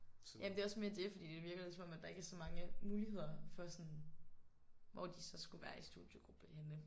Jamen det er også mere det fordi det virker lidt som om at der ikke er så mange muligheder for sådan hvor de så skulle være i studiegruppe henne